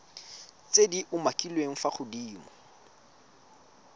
tse di umakiliweng fa godimo